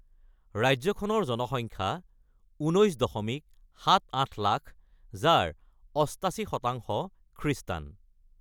ৰাজ্যখনৰ জনসংখ্যা ১৯.৭৮ লাখ, যাৰ ৮৮% খ্ৰীষ্টান।